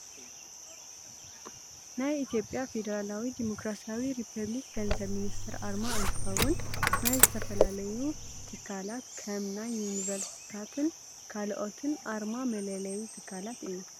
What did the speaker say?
ናይ ኢትዮጵያ ፌደራላዊ ዲሞክራሲያዊ ሪፐብሊክ ገንዘብ ሚኒስተር ኣርማ እንትከውን፣ ናይ ዝተፈላለዩ ትካላት ከም ናይ ዩኒቨርስትታትን ካልኦትን ኣርማ መለለይ ትካላት እዩ።